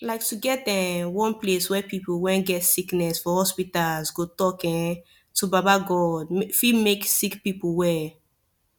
like to get um one place where pipu wen get sickiness for hospitas go talk um to baba godey fit make sicki pipu well